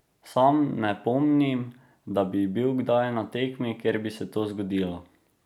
Sam ne pomnim, da bi bil kdaj na tekmi, kjer bi se to zgodilo.